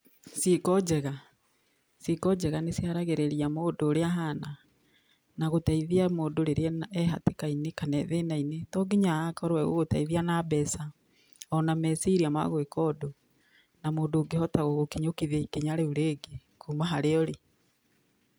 Ciĩko njega, ciĩko njega nĩ ciaragĩrĩria mũndũ ũrĩa ahana, na gũteithia mũndũ rĩrĩa e hatĩka-inĩ, kana e thĩna-inĩ, to nginya agakorwo egũgũteithia na mbeca, ona meciria magũĩka ũndũ, na mũndũ ũngĩhota gũgũkinyokĩria ikinya rĩu rĩngĩ kuuma harĩa ũrĩ.